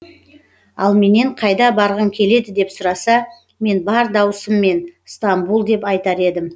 ал менен қайда барғың келеді деп сұраса мен бар даусыммен стамбул деп айтар едім